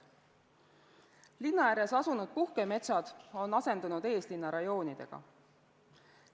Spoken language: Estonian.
Linna ääres asunud puhkemetsad on asendunud eeslinnarajoonidega.